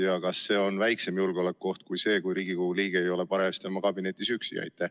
Ja kas see on väiksem julgeolekuoht kui see, et äkki mõni Riigikogu liige ei ole hääletamise ajal oma kabinetis üksi?